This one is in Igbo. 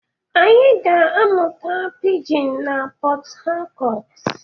Anyị ga-amụta pijin n'Pot Tarcot.